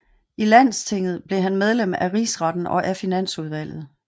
I Landstinget blev han medlem af Rigsretten og af Finansudvalget